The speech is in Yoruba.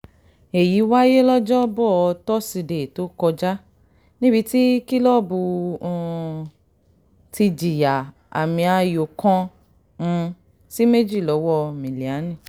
èyí wáyé lọ́jọ́bọ̀ tosidee tó kọjá kọjá níbi tí kílọ́ọ̀bù náà um ti jìyà àmì-ayò kan um sí méjì lọ́wọ́ milanes